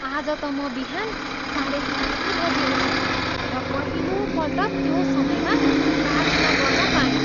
आज त म बिहान साढे चारै बजी उठेँ र पहिलोपल्ट त्यो समयमा प्रार्थना गर्न पाएँ।